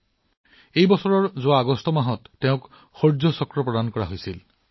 তেওঁক এই বছৰৰ আগষ্টত শৌৰ্য চক্ৰ দিয়া হৈছিল